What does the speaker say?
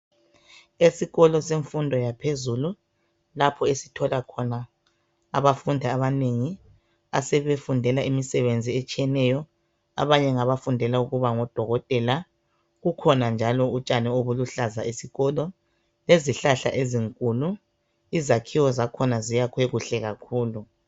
Esikolo semfundo yaphezulu lapho esithola. khona abafundi abanengi asebefundela imisebenzi etshiyeneyo. Abanye ngabafundela ukuba ngodokotela. Kukhona njalo utshani obuluhlaza esikolo. Lezihlahla ezinkulu. Izakhiwo zakhona zakhiwe kuhle kakhulu.